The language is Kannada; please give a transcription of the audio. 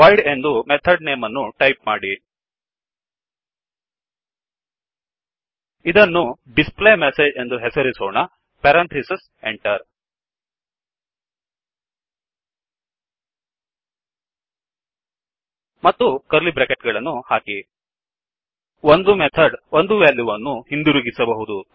voidಎಂದು ಮೆಥಡ್ ನೇಮ್ ಅನ್ನು ಟಾಯಿಪ್ ಮಾಡಿ ಇದನ್ನುdisplayMessageಡಿಸ್ ಪ್ಲೈ ಮೆಸೇಜ್ಎಂದು ಹೆಸರಿಸೋಣ ಪೆರಂಥಿಸಿಸ್ Enterಎಂಟರ್ ಮತ್ತು ಕರ್ಲಿ ಬ್ರೆಕೆಟ್ ಗಳನ್ನು ಹಾಕಿ ಒಂದು ಮೆಥಡ್ ಒಂದು ವೆಲ್ಯು ವನ್ನು ಹಿಂದಿರುಗಿಸಬಹುದು